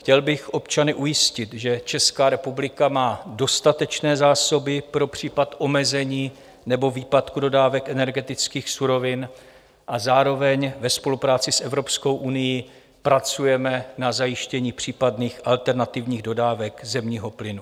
Chtěl bych občany ujistit, že Česká republika má dostatečné zásoby pro případ omezení nebo výpadku dodávek energetických surovin, a zároveň ve spolupráci s Evropskou unií pracujeme na zajištění případných alternativních dodávek zemního plynu.